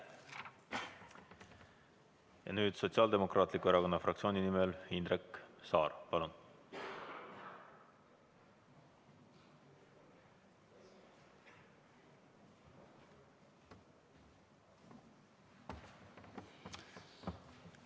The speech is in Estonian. Ja nüüd Sotsiaaldemokraatliku Erakonna fraktsiooni nimel Indrek Saar, palun!